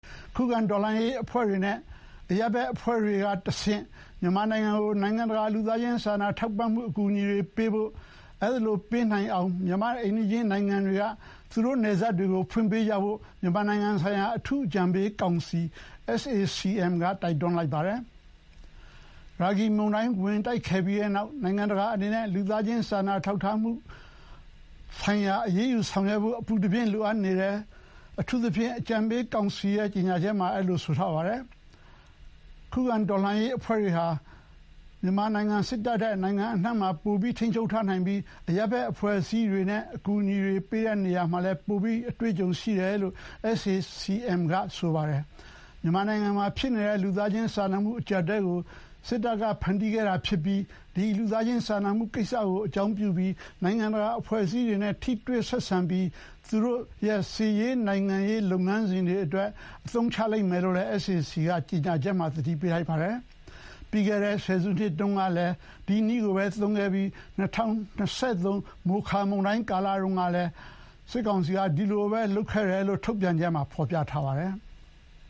ခုခံတော်လှန်ရေးအဖွဲ့တွေ နဲ့ အရပ်ဘက်အဖွဲ့တွေကတဆင့် မြန်မာနိုင်ငံကို နိုင်ငံတကာ လူသားချင်းစာနာထောက်ထားမှုအကူအညီတွေပေးဖို့နဲ့ အဲဒီလိုပေးနိုင်အောင် မြန်မာရဲ့ အိမ်နီးချင်းနိုင်ငံတွေက သူတို့ နယ်စပ်တွေကိုဖွင့်ပေးကြဖို့မြန်မာနိုင်ငံဆိုင်ရာ အထူး အကြံပေးကောင်စီ SAC-M က တိုက်တွန်းလိုက်ပါတယ်။ ရာဂီမုန်တိုင်းဝင်ခဲ့ပြီးတဲ့နောက် နိုင်ငံတကာအနေနဲ့ လူသားချင်း စာနာထောက်ထားမှုဆိုင်ရာ အရေးယူဆောင်ရွက်ဖို့အပူတပြင်း လိုအပ်နေတယ်လို့ အထူးအကြံပေးကောင်စီက ကြေညာချက်ထုတ်ပြန်ပါတယ်။ ခုခံတော်လှန်ရေးအဖွဲ့တွေဟာ စစ်တပ်ထက် နိုင်ငံအနှံ့မှာ ပို ထိန်းချုပ်ထားနိုင်ပြီး အရပ်ဘက်အဖွဲ့အစည်းတွေနဲ့ အကူအညီတွေပေးရာမှာ ပိုပြီးလည်း အတွေ့အကြုံရှိတယ်လို့ SAC-M က ဆိုပါတယ်။ မြန်မာနိုင်ငံမှာဖြစ်နေတဲ့ လူသားချင်းစာနာမှုအကျပ်အတည်းကိုစစ်တပ်ကဖန်တီးခဲ့တာဖြစ်ပြီး ဒီ လူသားချင်းစာနာမှုကိစ္စကို အကြောင်းပြုလို့ နိုင်ငံတကာအဖွဲ့အစည်းတွေနဲ့ ထိတွေ့ဆက်ဆံပြီး သူတို့ရဲ့ စစ်ရေး၊ နိုင်ငံရေးလုပ်ငန်းစဥ်တွေအတွက် အသုံးချလိမ့်မယ်လို့လည်း SAC-M က ကျေညာချက်မှာသတိပေးလိုက်ပါတယ်။ ပြီးခဲ့တဲ့ဆယ်စုတုန်းကလည်း ဒီနည်းကိုသုံးခဲ့ပြီး ၂၀၂၃ မိုခါ မုန်တိုင်းတုန်းကလည်း ဒီလိုပဲလုပ်ခဲ့တယ်လို့ ထုတ်ပြန်ချက်မှာဖော်ပြထားပါတယ်။